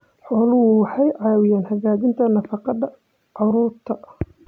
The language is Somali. Xooluhu waxay caawiyaan hagaajinta nafaqada carruurta.